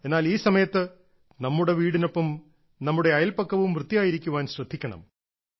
എന്നാൽ ഈ സമയത്ത് നമ്മുടെ വീടിനൊപ്പം നമ്മുടെ അയൽപക്കവും വൃത്തിയായിരിക്കാൻ ശ്രദ്ധിക്കണം